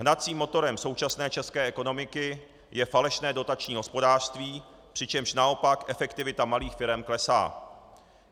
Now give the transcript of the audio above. Hnacím motorem současné české ekonomiky je falešné dotační hospodářství, přičemž naopak efektivita malých firem klesá.